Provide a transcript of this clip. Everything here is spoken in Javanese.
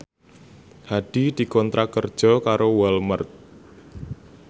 Hadi dikontrak kerja karo Walmart